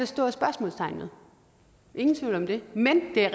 stort spørgsmålstegn ved ingen tvivl om det men det er